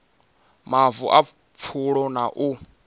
mavu a pfulo na u